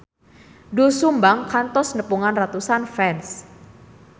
Doel Sumbang kantos nepungan ratusan fans